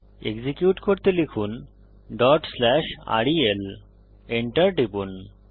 execute করতে লিখুন rel Enter টিপুন